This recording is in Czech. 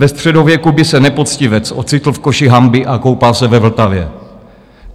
Ve středověku by se nepoctivec ocitl v koši hanby a koupal se ve Vltavě.